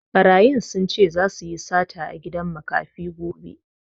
Ɓarayin sun ce zasu yi sata a gidan makafi gobe